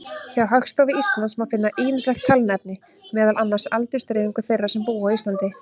Hjá Hagstofu Íslands má finna ýmislegt talnaefni, meðal annars aldursdreifingu þeirra sem búa á Íslandi.